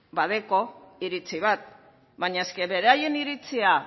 badauka iritzi bat baina beraien iritzia